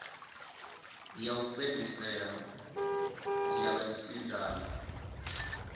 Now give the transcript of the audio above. ya u fhedzisela ya vhasidzana